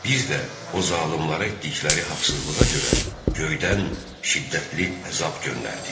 Biz də o zalımlara etdikləri haqsızlığa görə göydən şiddətli əzab göndərdik.